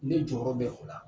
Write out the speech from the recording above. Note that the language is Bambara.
Ne jɔyɔrɔ bɛ o la